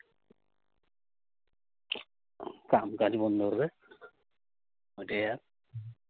কাম কাজ বন্ধ হবে। অইটাই আ